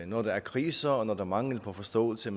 når der er kriser og når der er mangel på forståelse